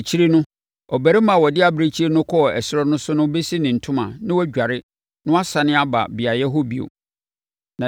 “Akyire no, ɔbarima a ɔde abirekyie no kɔɔ ɛserɛ so no bɛsi ne ntoma na wadware na wasane aba beaeɛ hɔ bio.